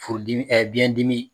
Furu dimi biyɛn dimi.